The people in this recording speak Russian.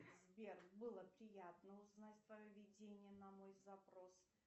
сбер было приятно узнать твое видение на мой запрос